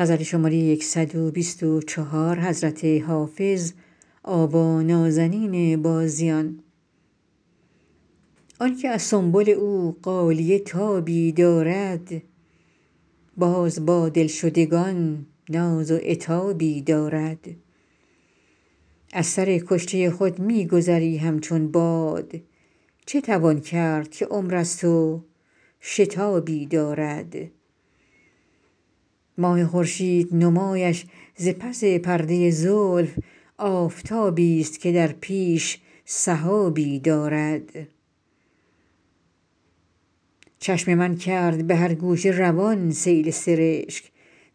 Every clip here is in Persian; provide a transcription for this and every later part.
آن که از سنبل او غالیه تابی دارد باز با دلشدگان ناز و عتابی دارد از سر کشته خود می گذری همچون باد چه توان کرد که عمر است و شتابی دارد ماه خورشید نمایش ز پس پرده زلف آفتابیست که در پیش سحابی دارد چشم من کرد به هر گوشه روان سیل سرشک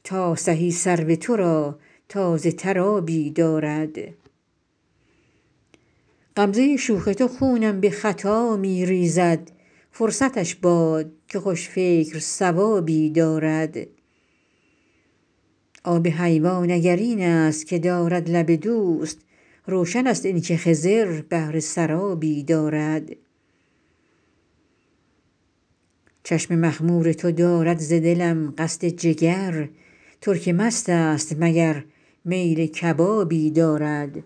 تا سهی سرو تو را تازه تر آبی دارد غمزه شوخ تو خونم به خطا می ریزد فرصتش باد که خوش فکر صوابی دارد آب حیوان اگر این است که دارد لب دوست روشن است این که خضر بهره سرابی دارد چشم مخمور تو دارد ز دلم قصد جگر ترک مست است مگر میل کبابی دارد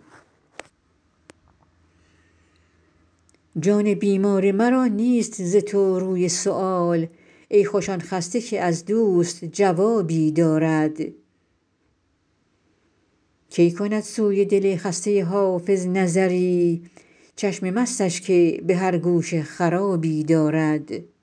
جان بیمار مرا نیست ز تو روی سؤال ای خوش آن خسته که از دوست جوابی دارد کی کند سوی دل خسته حافظ نظری چشم مستش که به هر گوشه خرابی دارد